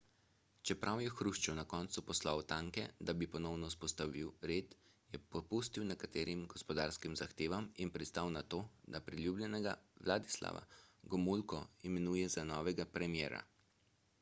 čeprav je hruščov na koncu poslal tanke da bi ponovno vzpostavil red je popustil nekaterim gospodarskim zahtevam in pristal na to da priljubljenega vladislava gomulko imenuje za novega premierja